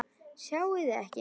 Sjáið þið ekki?